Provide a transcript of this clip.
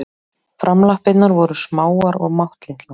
Framlappirnar voru smáar og máttlitlar.